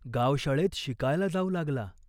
गावशाळेत शिकायला जाऊ लागला.